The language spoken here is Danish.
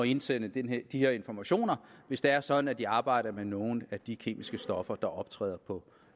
indsende de her informationer hvis det er sådan at de arbejder med nogle af de kemiske stoffer der optræder på